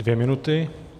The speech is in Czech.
Dvě minuty.